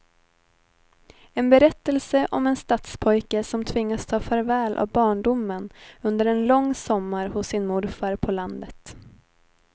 En berättelse om en stadspojke som tvingas ta farväl av barndomen under en lång sommar hos sin morfar på landet.